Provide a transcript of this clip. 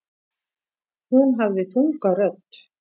Hún hafði þunga rödd.